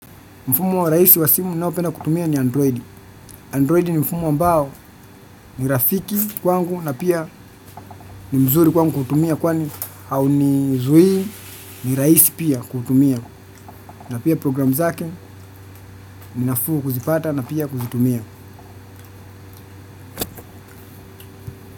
Mfumo rahisi wa simu ninayopenda kutumia ni Android. Android ni mfumo ambao ni rafiki kwangu na pia ni mzuri kwangu kutumia kwani haunizuii ni rahisi pia kutumia. Na pia program zake ni nafuu kuzipata na pia kuzitumia.